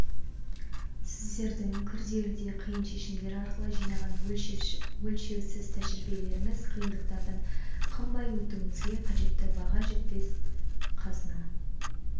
сіздердің күрделі де қиын шешімдер арқылы жинаған өлшеусіз тәжірибелеріңіз қиындықтардан қыңбай өтуімізге қажетті баға жетпес қазына